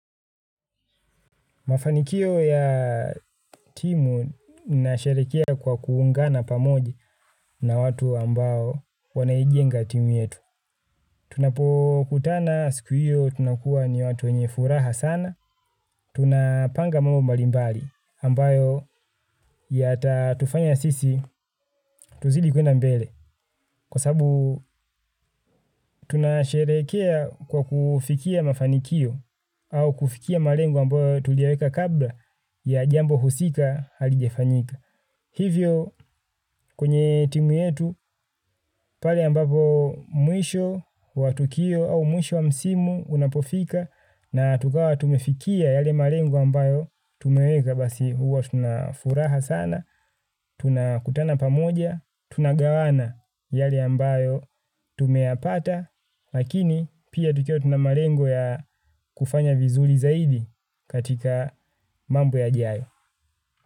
Mafanikio ya timu nasherekea kwa kuungana pamoji na watu ambao wanaijenga timu yetu. Tunapokutana siku hiyo tunakuwa ni watu wenye furaha sana. Tunapanga mambo mbalimbali ambayo yata tufanya sisi tuzidi kuenda mbele. Kwa sabu tunasherekea kwa kufikia mafanikio au kufikia malengo ambayo tuliweka kabla ya jambo husika halijafanyika. Hivyo kwenye timu yetu pale ambapo mwisho wa tukio au mwisho wa msimu unapofika na tukawa tumefikia yale malengo ambayo tumeweka basi huwa tunafuraha sana, tunakutana pamoja, tunagawana yale ambayo tumeyapata, lakini pia tukiwa tuna malengo ya kufanya vizuri zaidi katika mambo yajayo.